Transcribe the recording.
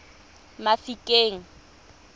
mafikeng